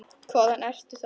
Hvaðan ertu þá?